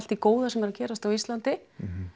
því góða sem er að gerast á Íslandi